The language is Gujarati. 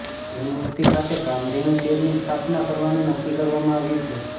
યુનિવર્સિટી ખાતે કામધેનું ચેરની સ્થાપના કરવાનું નક્કી કરવામાં આવ્યું છે